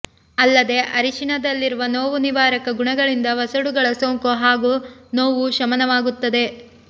ಅಲ್ಲದೆ ಅರಿಶಿಣದಲ್ಲಿರುವ ನೋವು ನಿವಾರಕ ಗುಣಗಳಿಂದ ವಸಡುಗಳ ಸೋಂಕು ಹಾಗೂ ನೋವು ಶಮನವಾಗುತ್ತದೆ